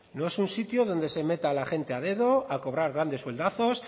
no es un sitio donde se meta a la gente a dedo a cobrar grandes sueldazos